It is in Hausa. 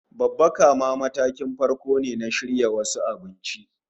Babbaka ma matakin farko ne na shirya wasu abinci